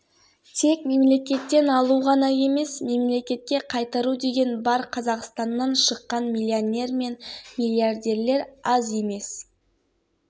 олардың байлықтары шет елдерде жатыр және олар салықты сол жаққа төлейді олар біреуді тойдырғанша осы